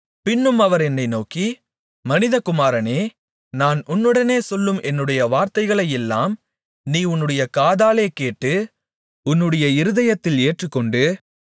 பின்னும் அவர் என்னை நோக்கி மனிதகுமாரனே நான் உன்னுடனே சொல்லும் என்னுடைய வார்த்தைகளையெல்லாம் நீ உன்னுடைய காதாலே கேட்டு உன்னுடைய இருதயத்தில் ஏற்றுக்கொண்டு